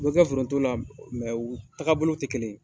O bɛ kɛ foronto la u taga bolo tɛ kelen ye.